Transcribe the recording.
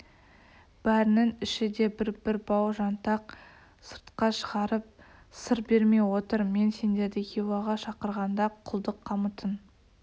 бәрінің ішіде бір-бір бау жантақ сыртқа шығарып сыр бермей отыр мен сендерді хиуаға шақырғанда құлдық қамытын